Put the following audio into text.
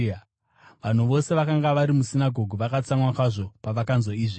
Vanhu vose vakanga vari musinagoge vakatsamwa kwazvo pavakanzwa izvi.